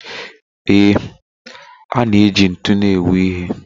Ee, a na-eji ntun u na-ewu ihe.